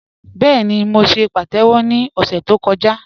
Bẹẹ̀ni, mó ṣè pàtẹ́wọ̀ ni ọ̀ṣẹ̀ tó kọ̀jà